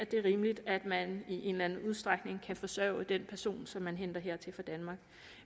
det er rimeligt at man i en eller anden udstrækning kan forsørge den person som man henter her til danmark